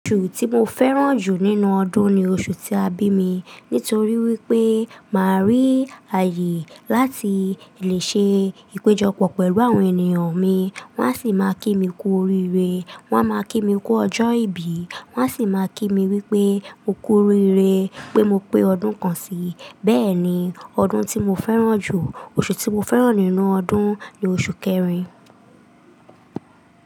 Oṣù tí mo fẹ́ràn jù nínú ọdún ni oṣù tí a bí mi. Nítorí wípé máa rí ààyè láti lè ṣe ìpéjọpọ̀ pẹ̀lú àwọn ènìyàn mi. Wọ́n á sì máa kí mi kú oríire, wọ́n á máa kí mi kú ọjọ́ ìbí, wọ́n á sì máa kí mi wípé mo kú oríire pé mo pé ọdún kan sí i. Bẹ́ẹ̀ ni, ọdún tí mo fẹ́ràn jù, oṣù tí mo fẹ́ràn nínú ọdún ni oṣù kẹrin.